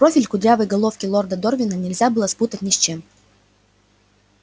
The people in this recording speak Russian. профиль кудрявой головки лорда дорвина нельзя было спутать ни с чем